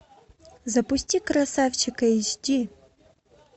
запусти красавчик эйч ди